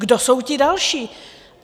Kdo jsou ti další?